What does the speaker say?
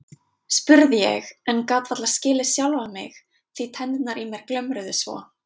spurði ég en gat varla skilið sjálfa mig því tennurnar í mér glömruðu svo.